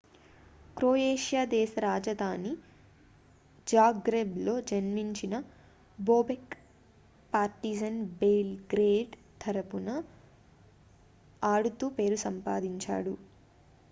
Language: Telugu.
క్రొయేషియా దేశ రాజధాని జాగ్రెబ్లో జన్మించిన బోబెక్ పార్టిజన్ బెల్ గ్రేడ్ తరఫున ఆడుతూ పేరు సంపాదించాడు